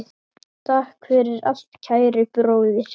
Takk fyrir allt, kæri bróðir.